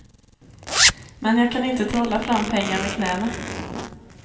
Men jag kan inte trolla fram pengar med knäna.